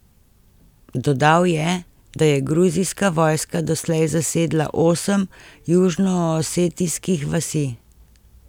Dodal je, da je gruzijska vojska doslej zasedla osem južnoosetijskih vasi.